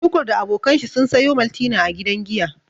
Tukur da abokan shi sun sayo maltina a gidan giya.